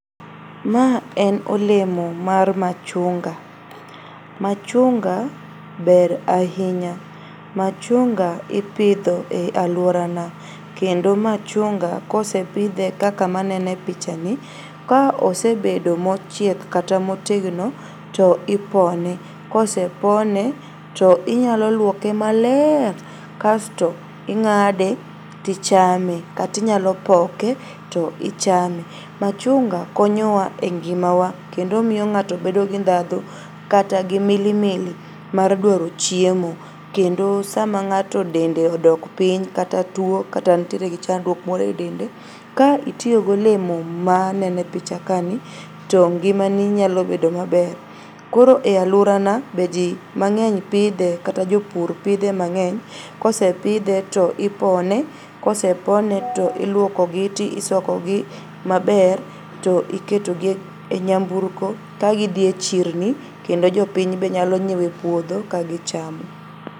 Ma en olemo mar machunga. Machunga ber ahinya. Machunga ipidho e aluorana kendo machunga kosepidhe kaka manene pichani ka osebedo mochiek kata motegno to ipone. Kosepone to inyalo luoke maler kasto ing'ade tichame kata inyalopoke toichame. Machunga konyowa e ngimawa kendo omiyo ng'ato bedo gi ndhadhu kata gi milimili mar dwaro chiemo kendo sama ng'ato dende odok piny kata tuo kata nitiere gi chandruok moro e dende ka itiyo golemo maneno e picha kani to ngimani nyalobedo maber koro e aluorana be jii mang'eny pidhe kata jopur pidhe mang'eny. Kosepidhe tipone, kosepone to iluokogi to isokogi maber to iketogi e nyamburko ka gidhie chirni kendo jopiny be nyalo nyiewe puodho ka gichamo.